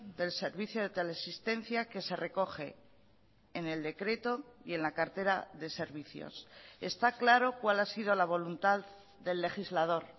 del servicio de teleasistencia que se recoge en el decreto y en la cartera de servicios está claro cuál ha sido la voluntad del legislador